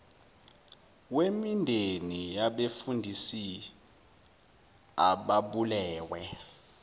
wemindeni yabefundisi ababulewe